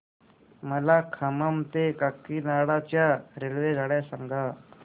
मला खम्मम ते काकीनाडा च्या रेल्वेगाड्या सांगा